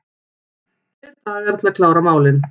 Tveir dagar til að klára málin